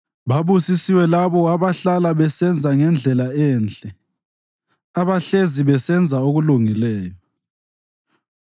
Babusisiwe labo abahlala besenza ngendlela enhle, abahlezi besenza okulungileyo.